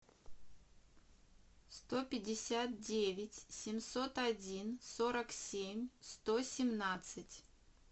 сто пятьдесят девять семьсот один сорок семь сто семнадцать